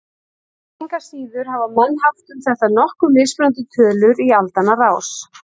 Engu að síður hafa menn haft um þetta nokkuð mismunandi tölur í aldanna rás.